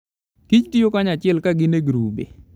Kich tiyo kanyachiel ka gin e grube.